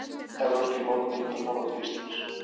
Evrópskir mótmælendur horfa til Íslands